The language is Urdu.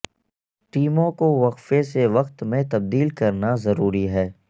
ٹیموں کو وقفے سے وقت میں تبدیل کرنا ضروری ہے